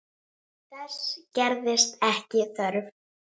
Þess gerðist ekki þörf.